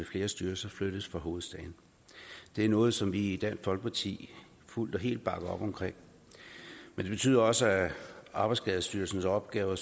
flere styrelser flyttes fra hovedstaden det er noget som vi i dansk folkeparti fuldt og helt bakker op om det betyder også at arbejdsskadestyrelsens opgaver